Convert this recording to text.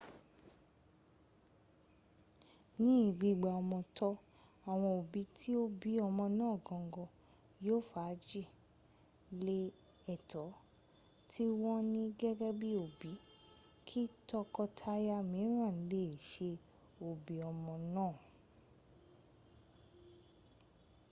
ní gbígba ọmọ tọ́ awọn òbí tí ó bí ọmọ náà gangan yóò fagi lé ẹ̀tọ́ tí wọ́n ní gẹ́gẹ́ bí òbí kí tọkọ-taya mìíràn le è ṣe òbí ọmọ náà